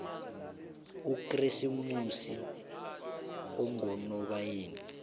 ukresimoxi ungonobayeni